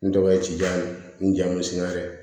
N tɔgɔ ye tiyan n jamu singa dɛ